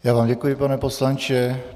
Já vám děkuji, pane poslanče.